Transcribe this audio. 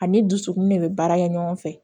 Ani dusukun de bɛ baara kɛ ɲɔgɔn fɛ